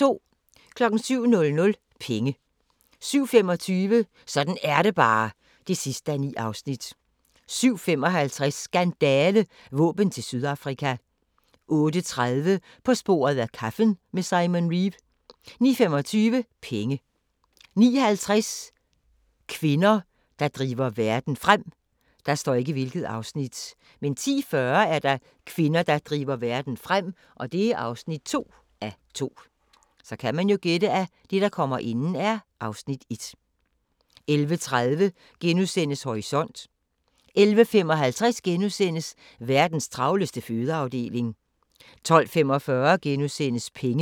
07:00: Penge 07:25: Sådan er det bare (9:9) 07:55: Skandale – Våben til Sydafrika 08:30: På sporet af kaffen med Simon Reeve 09:25: Penge 09:50: Kvinder, der driver verden frem 10:40: Kvinder, der driver verden frem (2:2) 11:30: Horisont * 11:55: Verdens travleste fødeafdeling * 12:45: Penge *